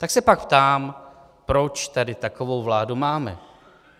Tak se pak ptám, proč tady takovou vládu máme.